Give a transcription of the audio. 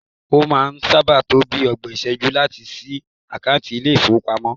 O maa n saa ba to bii ogbon iseju lati si akanti ni ile ifowopamo